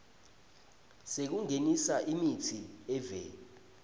sekungenisa imitsi eveni